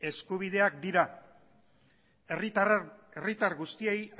eskubideak dira herritar guztiei